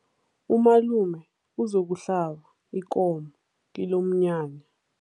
Umalume uzokuhlaba ikomo kilomnyanya.